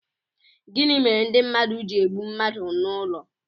Gịnị mere ndị mmadụ ji egbu mmadụ n'ụlọ